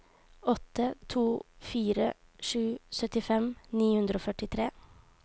åtte to fire sju syttifem ni hundre og førtitre